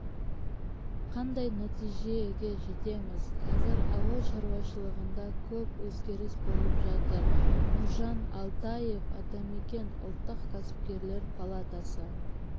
қандай нәтижеге жетеміз қазір ауыл шаруашылығында көп өзгеріс болып жатыр нұржан алтаев атамекен ұлттық кәсіпкерлер палатасы